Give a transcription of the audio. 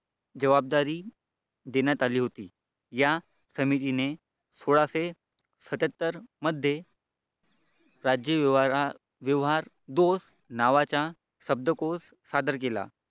जबाबदारी देण्यात आली होती या ने सोळाशे सत्यत्तर मध्ये राज्य व्यवहार तोच नावाचा शब्दकोश सादर केला.